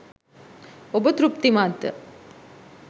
ඔබ තෘප්තිමත්ද?